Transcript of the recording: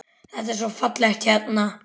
Það er svo fallegt hérna.